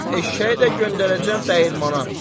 Eşşəyi də göndərəcəm dəyirmana.